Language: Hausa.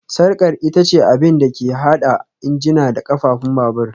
Sarkar ita ce abin da ke haɗa injina da ƙafafun babur